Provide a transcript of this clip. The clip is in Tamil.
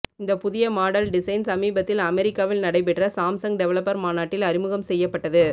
இந்த புதிய மாடல் டிசைன் சமீபத்தில் அமெரிக்காவில் நடைபெற்ற சாம்சங் டெவலப்பர் மாநாட்டில் அறிமுகம் செய்யப்பட்டது